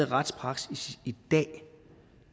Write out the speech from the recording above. retspraksis i dag